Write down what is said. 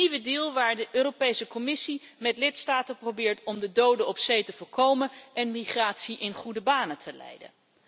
Een nieuwe deal waar de Europese Commissie met de lidstaten probeert om de doden op zee te voorkomen en migratie in goede banen te leiden.